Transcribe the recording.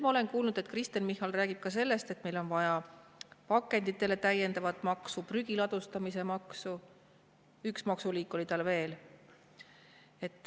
Ma olen kuulnud, et Kristen Michal räägib ka sellest, et meil on vaja täiendavat maksu pakenditele, prügi ladustamise maksu, üks maksuliik oli tal veel.